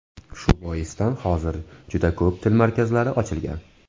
Shu boisdan hozir juda ko‘p til markazlari ochilgan.